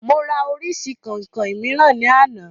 Mo rà orísìí kọ̀ìnkọ̀ìn mìíràn ní àná